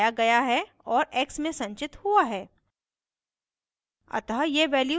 यहाँ sum बढ़ाया गया है और x में संचित हुआ है